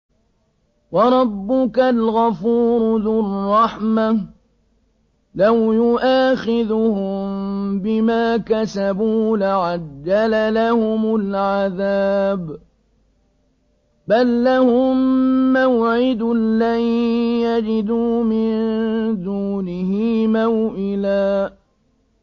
وَرَبُّكَ الْغَفُورُ ذُو الرَّحْمَةِ ۖ لَوْ يُؤَاخِذُهُم بِمَا كَسَبُوا لَعَجَّلَ لَهُمُ الْعَذَابَ ۚ بَل لَّهُم مَّوْعِدٌ لَّن يَجِدُوا مِن دُونِهِ مَوْئِلًا